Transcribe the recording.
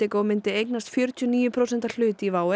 Indigo myndi eignast fjörutíu og níu prósent hlut í WOW